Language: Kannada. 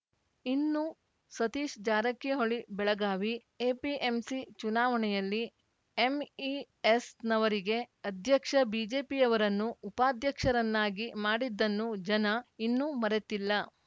ಇನ್ನು ಸತೀಶ ಜಾರಕಿಹೊಳಿ ಬೆಳಗಾವಿ ಎಪಿಎಂಸಿ ಚುನಾವಣೆಯಲ್ಲಿ ಎಂಇಎಸ್‌ನವರಿಗೆ ಅಧ್ಯಕ್ಷ ಬಿಜೆಪಿಯವರನ್ನು ಉಪಾಧ್ಯಕ್ಷರನ್ನಾಗಿ ಮಾಡಿದ್ದನ್ನು ಜನ ಇನ್ನೂ ಮರೆತಿಲ್ಲ